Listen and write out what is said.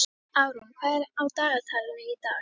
Árún, hvað er á dagatalinu í dag?